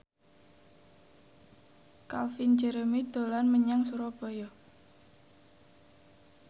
Calvin Jeremy dolan menyang Surabaya